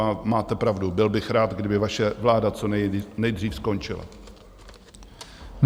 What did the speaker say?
A máte pravdu, byl bych rád, kdyby vaše vláda co nejdřív skončila.